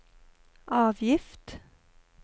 avgift